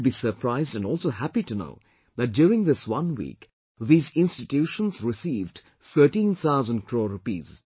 You will be surprised and also happy to know that during this one week, these institutions received 13 thousand crore rupees